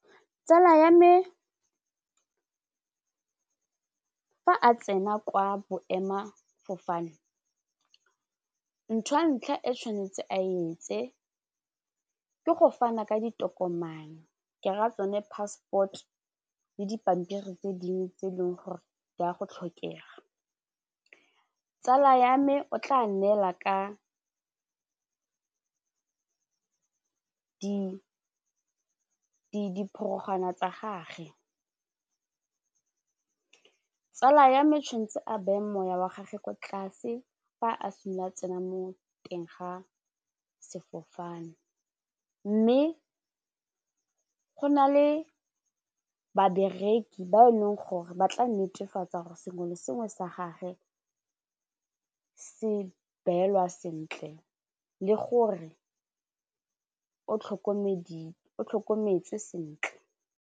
Tsala ya me fa a tsena kwa boemefofane ntho ya ntlha e tshwanetse a etse ke go fana ka ditokomane ke raya tsone passport le dipampiri tse dingwe tse e leng gore di ya go tlhokega, tsala ya me o tla neela ka diporogwana tsa gage tsala ya me tshwanetse a beye moya wa gage kwa tlase fa a simolola a tsena mo teng ga sefofane mme go na le babereki ba e leng gore ba tla netefatsa gore sengwe le sengwe sa gage se beelwa sentle le gore o tlhokometswe sentle.